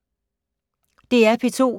DR P2